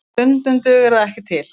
En stundum dugar það ekki til